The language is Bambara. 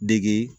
Degi